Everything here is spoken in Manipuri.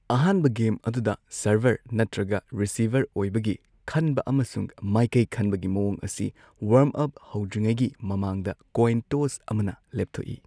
ꯑꯍꯥꯟꯕ ꯒꯦꯝ ꯑꯗꯨꯗ ꯁꯔꯚꯔ ꯅꯠꯇ꯭ꯔꯒ ꯔꯤꯁꯤꯚꯔ ꯑꯣꯏꯕꯒꯤ ꯈꯟꯕ ꯑꯃꯁꯨꯡ ꯃꯥꯏꯀꯩ ꯈꯟꯕꯒꯤ ꯃꯋꯣꯡ ꯑꯁꯤ ꯋꯥꯔꯝ ꯑꯞ ꯍꯧꯗ꯭ꯔꯤꯉꯩꯒꯤ ꯃꯃꯥꯡꯗ ꯀꯣꯏꯟ ꯇꯣꯁ ꯑꯃꯅ ꯂꯦꯞꯊꯣꯛꯏ꯫